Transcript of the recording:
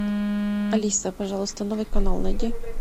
алиса пожалуйста новый канал найди